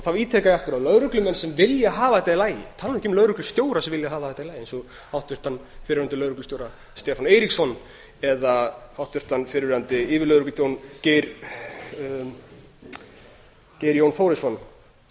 þá ítreka ég aftur að lögreglumenn sem vilja hafa þetta í lagi tala nú ekki um lögreglustjóra sem vilja hafa þetta í lagi eins og háttvirtur fyrrverandi lögreglustjóri stefán eiríksson eða háttvirtur fyrrverandi yfirlögregluþjónn geir jón þórisson